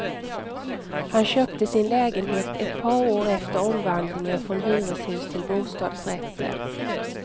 Han köpte sin lägenhet ett par år efter omvandlingen från hyreshus till bostadsrätter.